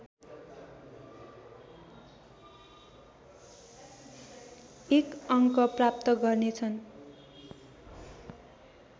एक अङ्क प्राप्त गर्नेछ